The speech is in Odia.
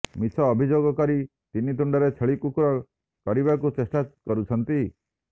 ମିଛ ଅଭିଯୋଗ କରି ତିନି ତୁଣ୍ଡରେ ଛେଳି କୁକୁର କରିବାକୁ ଚେଷ୍ଟା କରୁଛନ୍ତି